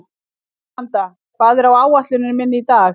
Míranda, hvað er á áætluninni minni í dag?